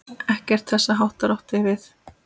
Ekkert þess háttar átti við.